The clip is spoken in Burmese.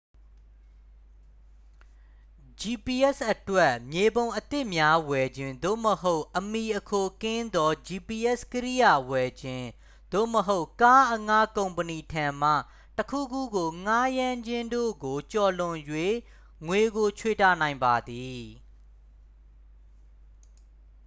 gps အတွက် မြေပုံအသစ်များဝယ်ခြင်း သို့မဟုတ် အမှီအခိုကင်းသော gps ကိရိယာဝယ်ခြင်း သို့မဟုတ် ကားအငှားကုမ္ပဏီထံမှ တစ် ခုခုကိုငှားရမ်းခြင်းတို့ကိုကျော်လွန်၍ ငွေကိုခြွေတာနိုင်ပါသည်